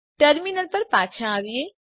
terminal પર પાછા આવીએ